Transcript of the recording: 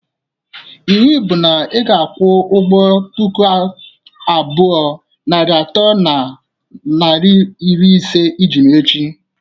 Iwu bụ na ị ga-akwu ụgwọ puku abụọ, narị atọ na naira iri ise iji m echi!